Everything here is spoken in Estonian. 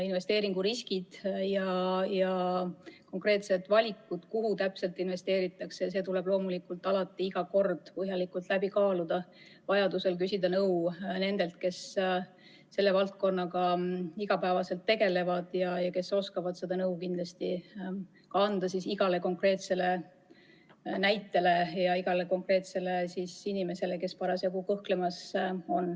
Investeeringuriskid ja konkreetsed valikud, kuhu täpselt investeerida, tuleb loomulikult alati iga kord põhjalikult läbi kaaluda, vajaduse korral küsida nõu nendelt, kes selle valdkonnaga igapäevaselt tegelevad ja kes oskavad kindlasti anda nõu igale inimesele, kes parasjagu kõhkleb.